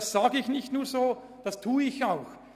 Das sage ich nicht einfach so, ich tue es auch.